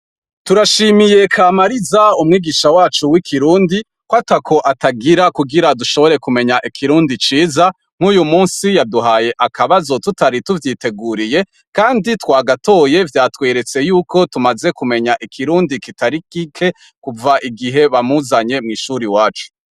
Turashimiye Kamariza umwigisha wacu w'ikirundi ko atako atagira kugira dushobore kumenya ikirundi ciza nk'uyu munsi yaduhaye akabazo tutari tuvyiteguriye kandi twagatoye vyatweretse yuko tumaze kumenya ikirundi kitari kike kuva igihe bamuzanye mw ishuri wacu.